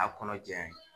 A kɔnɔ jɛlen